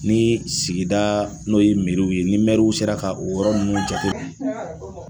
Ni sigida n'o ye meriw ye, ni mɛɛriw sera ka o yɔrɔ nunnu ja tɛ.